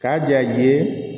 K'a ja i ye